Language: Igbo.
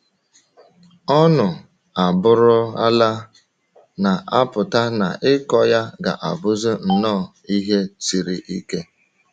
Ọnụ a bụrụ ala na - apụta na ịkọ ya ga - abụzi nnọọ ihe siri ike.